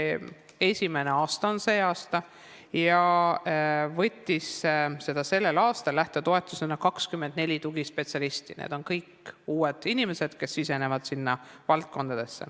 See aasta on esimene aasta, sellel aastal võttis lähtetoetust 24 tugispetsialisti, need on kõik uued inimesed, kes sisenevad valdkonda.